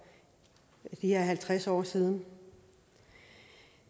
de her halvtreds år siden